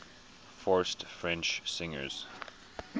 forced french singers